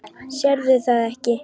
Sérðu það ekki?